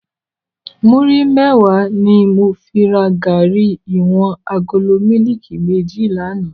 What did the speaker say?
Múri mèwá ni mó fi rá gàrí iwòn àgóló mìlíkí mèjí làná